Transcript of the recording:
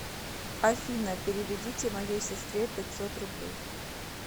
афина переведите моей сестре пятьсот рублей